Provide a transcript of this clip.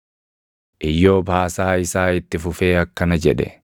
Iyyoob haasaa isaa itti fufee akkana jedhe: